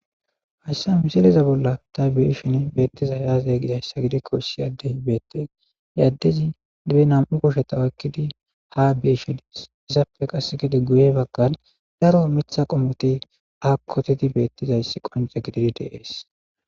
Haysa misileza bollan ta be'ishn betizay aze gizaysa gikon issi Adey betes he adez be 2 kusheta oykid ha beyishe Des, izappe qase gede guye bagan daro Mitha qomoti ha putid betizays qonce gidid de'es.